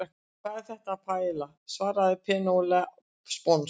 Hvað er þetta? Paiella, svaraði Penélope sponsk.